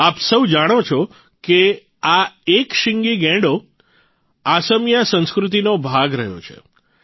આપ સૌ જાણો છો કે આ એક શીંગી ગૈંડો અસમિયા સંસ્કૃતિનો ભાગ રહ્યો છે